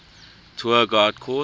tour guide course